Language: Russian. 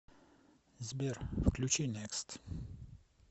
сбер включи некст